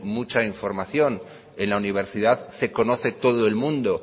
mucha información en la universidad se conoce todo el mundo